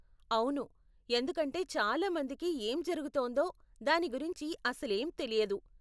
అవును, ఎందుకంటే చాలా మందికి ఏం జరుగుతోందో దాని గురించి అసలేం తెలియదు.